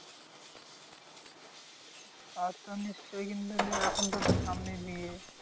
তা তো নিশ্চই কিন্তু এখন তো তোর সামনেই বিয়ে।